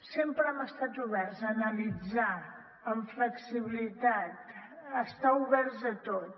sempre hem estat oberts a analitzar amb flexibilitat a estar oberts a tot